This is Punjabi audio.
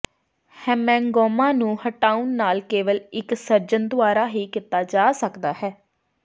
ਹੈਮੇਂੰਗੋਮਾ ਨੂੰ ਹਟਾਉਣ ਨਾਲ ਕੇਵਲ ਇੱਕ ਸਰਜਨ ਦੁਆਰਾ ਹੀ ਕੀਤਾ ਜਾ ਸਕਦਾ ਹੈ